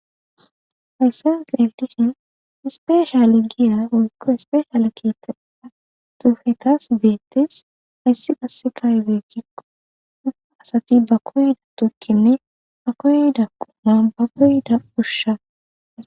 hayssen xeelishin ispeesha le giya woykko ispeesha ale kita atufetas beettes hayssi qasse kaybe gikko dufa asati ba koyida tukkinne a koyda quma ba koyida ushsha